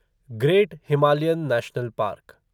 great Himalayan national park